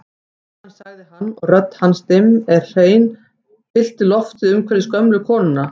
Síðan sagði hann og rödd hans dimm en hrein fyllti loftið umhverfis gömlu konuna